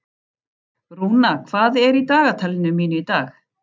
Rúna, hvað er í dagatalinu mínu í dag?